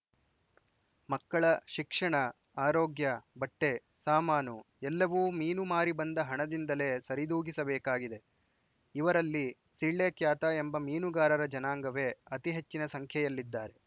ಮಕ್ಕಳ ಶಿಕ್ಷಣ ಆರೋಗ್ಯ ಬಟ್ಟೆ ಸಾಮಾನು ಎಲ್ಲವೂ ಮೀನು ಮಾರಿ ಬಂದ ಹಣದಿಂದಲೇ ಸರಿದೂಗಿಸಬೇಕಾಗಿದೆಇವರಲ್ಲಿ ಸಿಳ್ಳೆ ಕ್ಯಾತ ಎಂಬ ಮೀನುಗಾರರ ಜನಾಂಗವೇ ಅತಿ ಹೆಚ್ಚಿನ ಸಂಖ್ಯೆಯಲ್ಲಿದ್ದಾರೆ